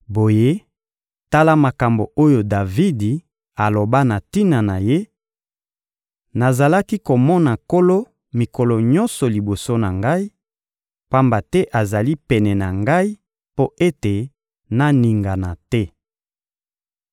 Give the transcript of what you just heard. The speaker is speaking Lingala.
Boye, tala makambo oyo Davidi aloba na tina na Ye: «Nazalaki komona Nkolo mikolo nyonso liboso na ngai, pamba te azali pene na ngai mpo ete naningana te.